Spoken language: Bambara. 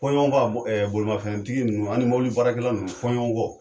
Fɔ ɲɔgɔnkɔ bolimafɛntigi ninnu ani mɔbili baarakɛlaw ninnu fɔ ɲɔnlɔ.